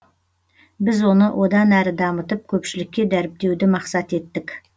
біз оны одан әрі дамытып көпшілікке дәріптеуді мақсат еттік